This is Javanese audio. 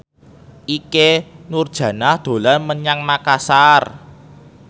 Ikke Nurjanah dolan menyang Makasar